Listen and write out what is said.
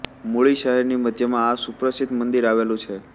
મુળી શહેરની મધ્યમાં આ સુપ્રસિદ્ધ મંદિર આવેલુ છે